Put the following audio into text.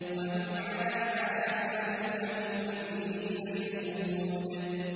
وَهُمْ عَلَىٰ مَا يَفْعَلُونَ بِالْمُؤْمِنِينَ شُهُودٌ